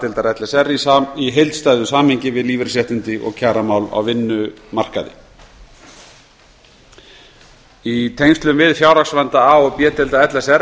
deildar l s r í heildstæðu samhengi við lífeyrisréttindi og kjaramál á vinnumarkaði í tengslum við fjárhagsvanda a og b deilda l s r